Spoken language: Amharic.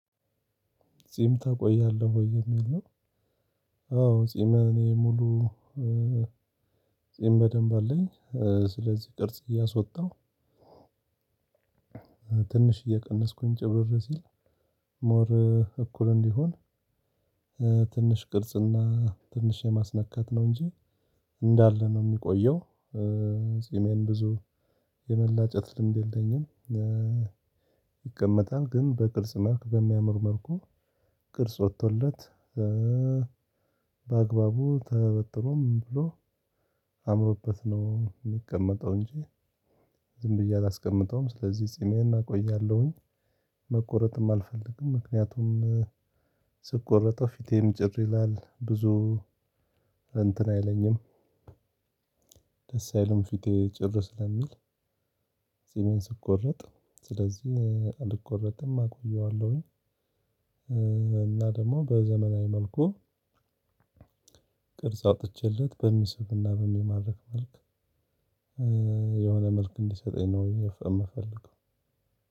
ጺም ተቆያለህ ወይ የሚል ነው? አዎ ጺም እኔ ሙሉ ጺም በደንብ አለኝ ስለዚህ ቅርጽ እያሶጣሁ። ትንሽ እየቀነስኩኝ ጭብር ሲል ሞር እኩል እንዲሆን። ትንሽ ቅርጽና ትንሽ የማስነካት ነው እንጂ እንዳለ ነው እሚቆየው። ጺሜን ብዙ የመላጨት ልምድ የለኝም። ይቀመጣል ግን በቅርጽ መልክ በሚያምር መልኩ ቅርጽ ወጥቶለት። በአግባቡ ተበጥሮም ብሎ አምሮበት ነው እሚቀመጠው እንጂ ዝም ብዬ አላስቀምጠውም ስለዚህ ጺሜን አቆያለሁኝ። መቆረጥም አልፈልግም ምክንያቱም ስቆረጠው ፊቴም ጭር ይላል ብዙ እንትን አይለኝም። ደስ አይልም ፊቴ ጭር ስለሚል። ጺሜን ስቆርጥ ስለዚህ አልቆረጥም አቆየዋለሁኝ። እና ደግሞ በዘመናዊ መልኩ ቅርጽ አውጥቼለት በሚሲብና በሚማርክ መልክ የሆነ መልክ እንዲሰጠኝ ነው እምፈልገው።